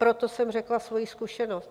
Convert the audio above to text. Proto jsem řekla svoji zkušenost.